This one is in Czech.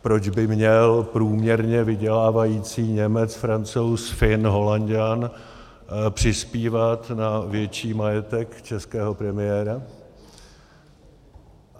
Proč by měl průměrně vydělávající Němec, Francouz, Fin, Holanďan přispívat na větší majetek českého premiéra?